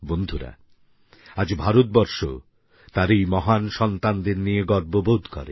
বন্ধুরা আজ ভারতবর্ষ তার এই মহান সন্তানদের নিয়ে গর্ববোধ করে